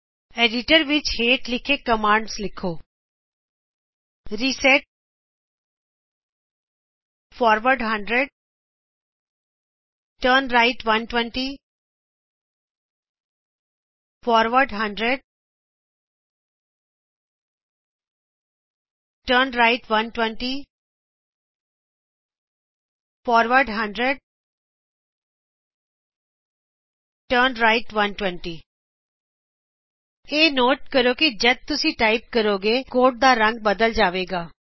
ਆਪਣੇ ਐਡੀਟਰ ਵਿਚ ਹੇਠ ਲਿਖੇ ਆਦੇਸ਼ ਲਿਖੋ reset forward 100 turn right 120 forward turn right 120 forward turn right 120 ਇਹ ਨੋਟ ਕਰੋ ਕਿ ਜੱਦ ਤੁਸੀ ਟਾਈਪ ਕਰੋਗੇ ਤਾ ਕੋਡ ਦਾ ਰੰਗ ਬਦਲ ਜਾਵੇਗਾ